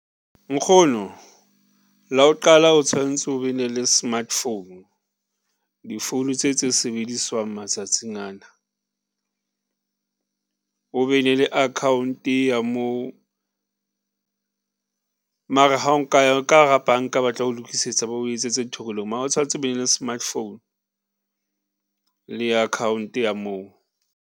Nkgono, la o qala o tshwantse o be na le smartphone di-phone tse tse sebediswang matsatsing ana o be ne le account ya moo mara ha o nka ya ka hara banka batla o lokisetsa, ba o etsetse ntho e nngwe le e nngwe mara o tshwantse o be le smartphone le account ya moo.